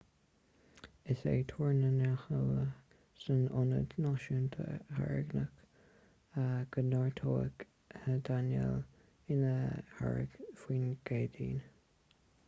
is é tuar na n-eolaithe san ionad náisiúnta hairicín go neartóidh danielle ina hairicín faoin gcéadaoin